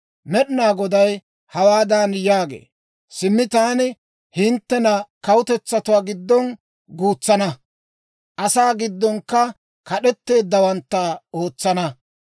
Med'inaa Goday hawaadan yaagee; «Simmi taani hinttena kawutetsatuwaa giddon guutsana; asaa giddonkka kad'etteeddawantta ootsana.